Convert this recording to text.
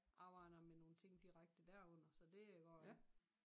Arbejder med nogle ting direkte derunder så det går der